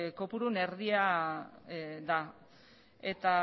kopuruaren erdia da eta